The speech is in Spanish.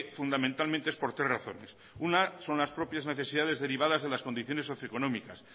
fundamentalmente es por tres razones una son las propias necesidades derivadas de las condiciones socioeconómicas